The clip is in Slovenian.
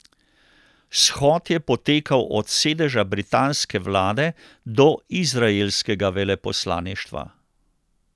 Shod je potekal od sedeža britanske vlade do izraelskega veleposlaništva.